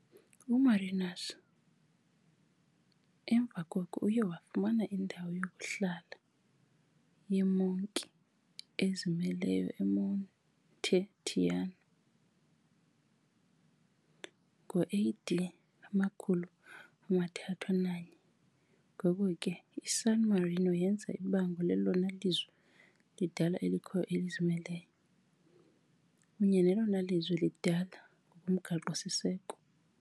UMarinus emva koko uye wafumana indawo yokuhlala yeemonki ezimeleyo eMonte Titano ngo AD 301, ngoko ke, iSan Marino yenza ibango lelona lizwe lidala elikhoyo elizimeleyo, kunye nelona lizwe lidala lomgaqo-siseko .